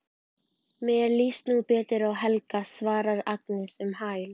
Mér líst nú betur á Helga, svarar Agnes um hæl.